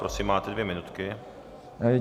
Prosím, máte dvě minuty.